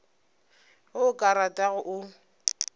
ge o ka rata o